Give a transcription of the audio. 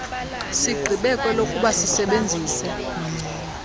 sigqibe kwelokuba sisebenzise